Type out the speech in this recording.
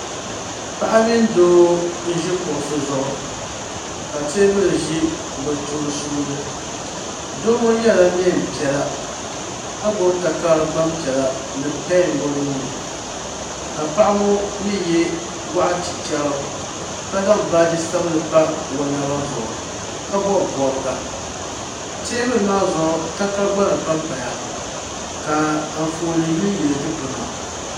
Paɣa mini doo n ʒi kuɣusi zuɣu ka teebuli ʒi bɛ sunsuuni doo ŋɔ yela niɛn'piɛla ka gbibi takari gbam'piɛla ni pen o nuuni ka paɣa ŋɔ mee ye goɣa chichera ka zaŋ baaji sabinli pa o naba zuɣu ka bobi bobga teebuli maa zuɣu takara gbaŋ pampaya ka anfooni yili yili dikpina.